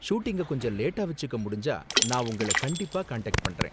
ஷூட்டிங்கை கொஞ்சம் லேட்டா வெச்சுக்க முடிஞ்சா நான் உங்கள கண்டிப்பா காண்டாக்ட் பண்றேன்.